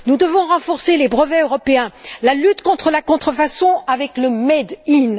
nous devons renforcer les brevets européens, la lutte contre la contrefaçon avec le made in